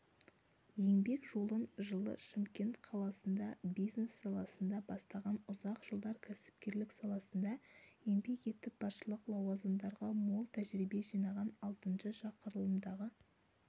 еңбек жолын жылы шымкент қаласында бизнес саласында бастаған ұзақ жылдар кәсіпкерлік саласында еңбек етіп басшылық лауазымдарда мол тәжірибе жинаған алтыншы шақырылымдағы